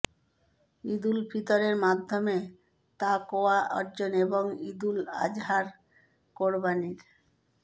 ঈদুল ফিতরের মাধ্যমে তাকওয়া অর্জন এবং ঈদুল আজহার কোরবানির